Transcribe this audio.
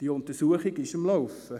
Diese Untersuchung ist am Laufen.